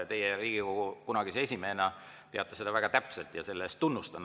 Teie Riigikogu kunagise esimehena teate seda väga täpselt ja selle eest teid tunnustan.